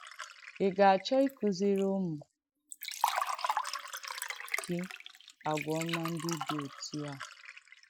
Ị̀ gà-àchọ̀ ị̀kùzìrì ùmù gị àgwà ọ̀mà ndí dì òtù à?